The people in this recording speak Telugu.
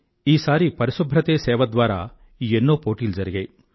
ఈసారి పరిశుభ్రతే సేవ ద్వారా ఎన్నో పోటీలు జరిగాయి